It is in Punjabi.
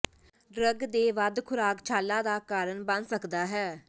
ਡਰੱਗ ਦੇ ਵੱਧ ਖੁਰਾਕ ਛਾਲਾ ਦਾ ਕਾਰਨ ਬਣ ਸਕਦਾ ਹੈ